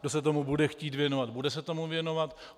Kdo se tomu bude chtít věnovat, bude se tomu věnovat.